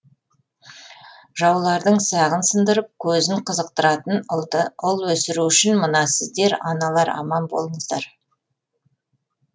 жаулардың сағын сындырып көзін қызықтыратын ұлды ұл өсіру үшін мына сіздер аналар аман болыңыздар